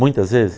Muitas vezes?